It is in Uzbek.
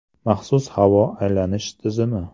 Maxsus havo aylanish tizimi.